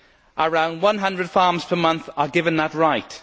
Around 100 farms per month are given that right.